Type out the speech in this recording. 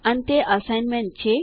અંતે અસાઇનમેન્ટ છે